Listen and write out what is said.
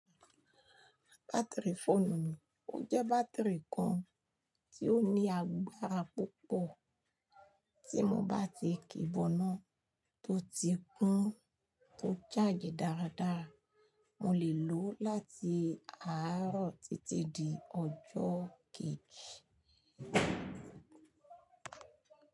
Batiri fóònù mi, ó jẹ́ bátìrì kan tí ó ní agbára púpọ̀. Tí mo bá ti ki bọ́nà tó ti kún tó charge dáradára, mo lè lò ó láti àárọ̀ títí di ọjọ́ kejì.